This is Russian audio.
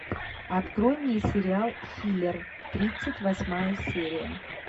открой мне сериал хилер тридцать восьмая серия